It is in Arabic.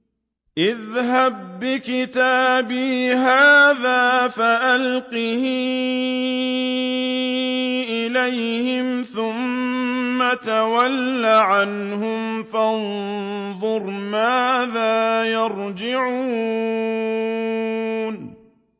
اذْهَب بِّكِتَابِي هَٰذَا فَأَلْقِهْ إِلَيْهِمْ ثُمَّ تَوَلَّ عَنْهُمْ فَانظُرْ مَاذَا يَرْجِعُونَ